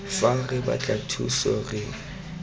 fa re batla thuso re